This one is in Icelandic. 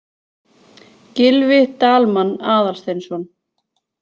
Gylfi Dalmann Aðalsteinsson.